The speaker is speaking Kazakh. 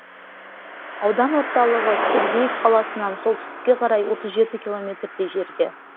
аудан орталығы сергеев қаласынан солтүстікке қарай отыз жеті километрдей жерде